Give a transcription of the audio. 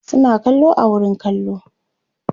suna kallo a wurin kallo